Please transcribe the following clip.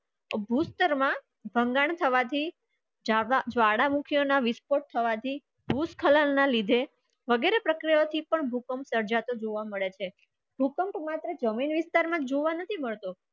ભૂસ્તર માં સંજ્ઞા સૌથી જાડા મુખિયો ના વિસ્તર થવા જે ભૂ સ્સ્થળ ના નીચે વધારે પ્રક્રિયા જી પણ તી પણ તરજાતે જોવા મળે છે